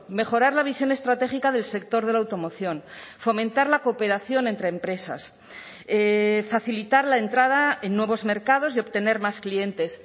mejorar la visión estratégica del sector de la automoción fomentar la cooperación entre empresas facilitar la entrada en nuevos mercados y obtener más clientes